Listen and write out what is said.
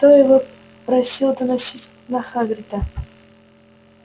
кто его просил доносить на хагрида